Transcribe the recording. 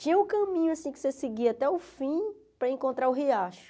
Tinha o caminho assim que você seguia até o fim para encontrar o riacho.